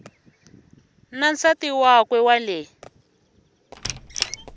na nsati wakwe wa le